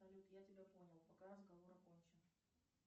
салют я тебя понял пока разговор окончен